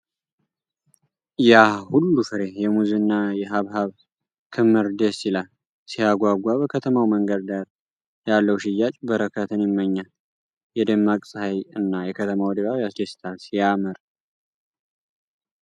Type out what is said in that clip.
ያ ሁሉ ፍሬ! የሙዝ እና የሐብሐብ ክምር ደስ ይላል። ሲያጓጓ! በከተማው መንገድ ዳር ያለው ሽያጭ በረከትን ይመኛል። የደማቅ ፀሐይ እና የከተማው ድባብ ያስደስታል። ሲያምር!